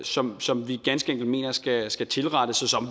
som som vi ganske enkelt mener skal skal tilrettes og som